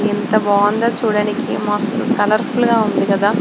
ఎంత బాగుందో చూడడానికి మస్త్ కలర్ఫుల్ గా ఉంది కదా.